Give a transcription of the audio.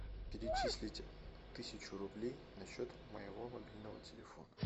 перечислить тысячу рублей на счет моего мобильного телефона